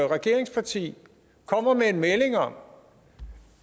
regeringsparti kommer med en melding om